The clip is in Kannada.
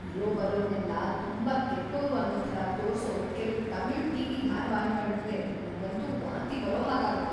ಇರೋಬರೋರ್ನೆಲ್ಲ ತುಂಬಾ ಕೆಟ್ಟೋರು ಅನ್ನೋ ಥರ ತೋರ್ಸೋ ಕೆಲ್ವು ತಮಿಳು ಟಿ.ವಿ. ಧಾರಾವಾಹಿಗಳೂಂದ್ರೆ ನಂಗಂತೂ ವಾಂತಿ ಬರೋ ಹಾಗಾಗತ್ತೆ.